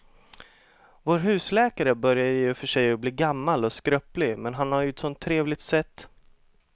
Vår husläkare börjar i och för sig bli gammal och skröplig, men han har ju ett sådant trevligt sätt!